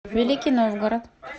великий новгород